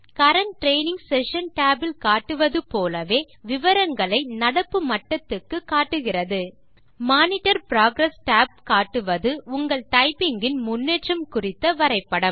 current training session tab இல் காட்டுவது போலவே விவரங்களை நடப்பு மட்டத்துக்கு காட்டுகிறது மானிட்டர் புரோகிரஸ் tab காட்டுவது உங்கள் டைப்பிங் இன் முன்னேற்றம் குறித்த வரைபடம்